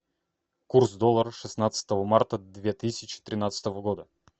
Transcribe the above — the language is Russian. курс доллара шестнадцатого марта две тысячи тринадцатого года